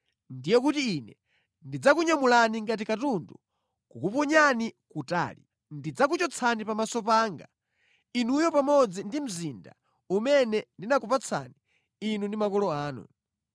ndiye kuti Ine ndidzakunyamulani ngati katundu nʼkukuponyani kutali. Ndidzakuchotsani pamaso panga, inuyo pamodzi ndi mzinda umene ndinakupatsani inu ndi makolo anu.